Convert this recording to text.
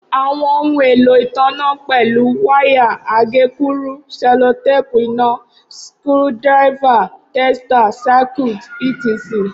Awọn ohun elo itanna pẹlu, waya, agekuru, sellotape ina, skru diver, tester, Circuit etc.